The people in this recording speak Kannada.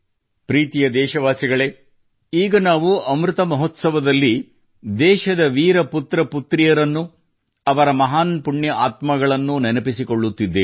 ಪ್ರೀತಿಯ ದೇಶವಾಸಿಗಳೇ ಈಗ ನಾವು ಅಮೃತ ಮಹೋತ್ಸವದಲ್ಲಿ ದೇಶದ ವೀರ ಪುತ್ರಪುತ್ರಿಯರನ್ನು ಅವರ ಮಹಾನ್ ಪುಣ್ಯ ಆತ್ಮಗಳನ್ನು ನೆನಪಿಸಿಕೊಳ್ಳುತ್ತಿದ್ದೇವೆ